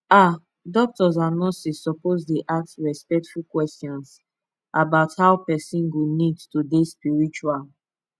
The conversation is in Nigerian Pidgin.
ah doctors and nurses suppose dey ask respectful questions about how person go need to dey spiritual